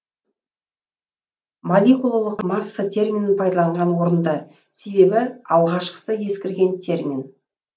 молекулалық масса терминін пайдаланған орынды себебі алғашқысы ескірген термин